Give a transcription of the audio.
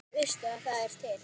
Veistu að það er til?